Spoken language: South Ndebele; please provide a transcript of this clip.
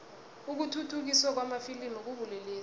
ukukhukhuthiswa kwamafilimu kubulelesi